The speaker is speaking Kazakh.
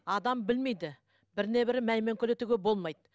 адам білмейді біріне бірі мәймөңкелетуге болмайды